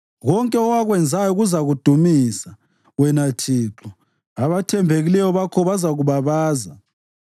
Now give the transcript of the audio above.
Konke owakwenzayo kuzakudumisa, wena Thixo; abathembekileyo bakho bazakubabaza.